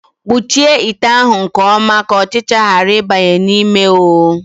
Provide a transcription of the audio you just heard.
Kpuchie ite ahụ nke ọma ka ọchịcha ghara ịbanye ya n'ime oo!